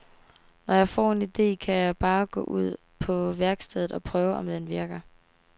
Når jeg får en ide, kan jeg bare gå ud på værkstedet og prøve, om den virker.